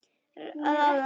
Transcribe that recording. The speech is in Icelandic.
Ráða öllu?